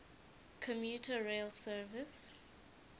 commuter rail service